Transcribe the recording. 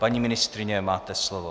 Paní ministryně, máte slovo.